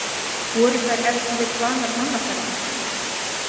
Voru þær ef til vill vanar mannaferðum?